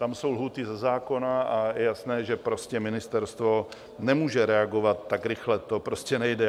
Tam jsou lhůty ze zákona a je jasné, že ministerstvo nemůže reagovat tak rychle, to prostě nejde.